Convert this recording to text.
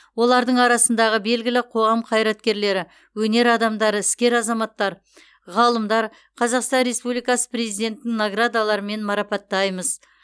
олардың арасындағы белгілі қоғам қайраткерлері өнер адамдары іскер азаматтар ғалымдар қазақстан республикасы президентінің наградаларымен марапаттаймыз